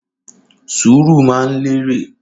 Ṣúrù mà ń lẹrẹ